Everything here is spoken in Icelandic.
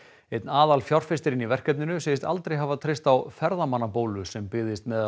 einn í verkefninu segist aldrei hafa treyst á ferðamannabólu sem byggðist meðal